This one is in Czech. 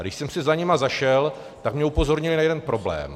A když jsem si za nimi zašel, tak mě upozornili na jeden problém.